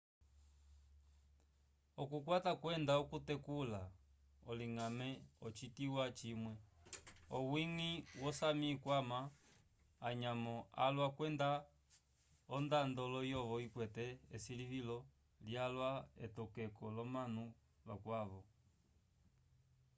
okukwata kwenda okutekula oloñgame ocituwa cimwe owiñgi wo sámi ikwama anyamo alwa kwenda ondando layovo ikwete esilivilo lyalwa k'etokeko l'omanu vakwavo